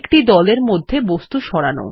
একটি দলের মধ্যে বস্তু সরান